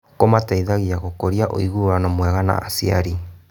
Kũmateithagia gũkũria ũiguano mwega na aciari.